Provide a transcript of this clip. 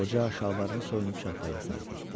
Qoca şalvarını soyunub çarpayıya sarı getdi.